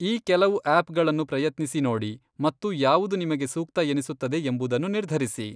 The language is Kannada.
ಈ ಕೆಲವು ಆ್ಯಪ್ಗಳನ್ನು ಪ್ರಯತ್ನಿಸಿ ನೋಡಿ ಮತ್ತು ಯಾವುದು ನಿಮಗೆ ಸೂಕ್ತ ಎನಿಸುತ್ತದೆ ಎಂಬುದನ್ನು ನಿರ್ಧರಿಸಿ.